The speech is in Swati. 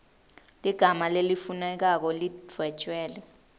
ligama lelifunekako lidvwetjelwe